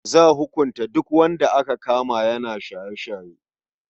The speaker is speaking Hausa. Za hukunta duk wanda aka kama yana shaye-shaye.